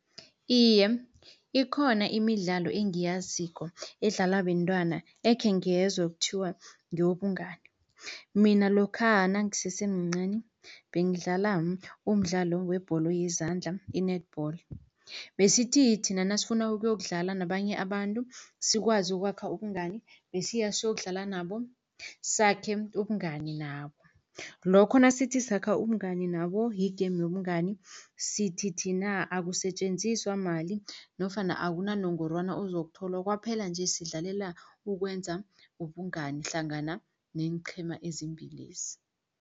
Iye, ikhona imidlalo engiyaziko edlalwa bentwana ekhe ngezwa kuthiwa ngewobungani. Mina lokha nangisesemncani bengidlala umdlalo webholo yezandla i-netball, besithi thina nasifuna ukuyokudlala nabanye abantu sikwazi ukwakha ubungani besiya siyokudlala nabo, sakhe ubungani nabo. Lokho nasithi sakha umngani nabo yi-game yobungani, sithi thina akusetjenziswa mali nofana akunanongorwana ozokutholwa, kwaphela nje sidlalela ukwenza ubungani hlangana neenqhema ezimbilezi.